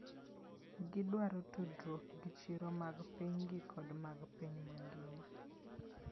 Gidwaro tudruok gi chiro mag pinygi kod mag piny mangima.